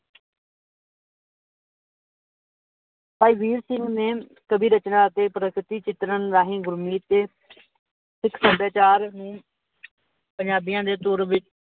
ਭਾਈ ਵੀਰ ਸਿੰਘ ਨੇ, ਕਵੀ ਰਚਨਾ ਅਤੇ ਪ੍ਰਗਤੀ ਚਿਤਰਣ ਰਾਹੀਂ ਸਿੱਖ ਸਬੀਚਾਰ ਪੰਜਾਬੀਆਂ ਦੇ